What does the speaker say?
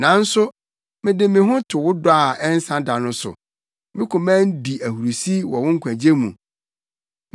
Nanso mede me ho to wo dɔ a ɛnsa da no so; me koma di ahurusi wɔ wo nkwagye mu.